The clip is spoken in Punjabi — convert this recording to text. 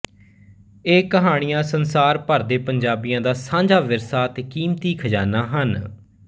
ਇਹ ਕਹਾਣੀਆਂ ਸੰਸਾਰ ਭਰ ਦੇ ਪੰਜਾਬੀਆਂ ਦਾ ਸਾਂਝਾ ਵਿਰਸਾ ਤੇ ਕੀਮਤੀ ਖਜ਼ਾਨਾ ਹਨ